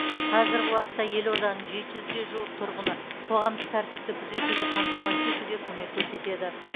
қазіргі уақытта елорданың жеті жүзге жуық тұрғыны қоғамдық тәртіпті күзетуді қамтамасыз етуге көмек көрсетеді